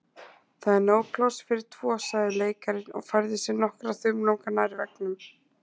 Það er nóg pláss fyrir tvo sagði leikarinn og færði sig nokkra þumlunga nær veggnum.